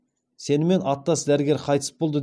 сенімен аттас дәрігер қайтыс болды